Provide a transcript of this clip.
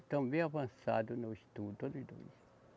Estão bem avançado no estudo, todos os dois.